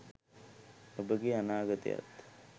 ඔබගේ අනාගතයත්